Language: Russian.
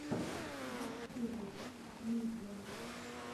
гутсериев медиа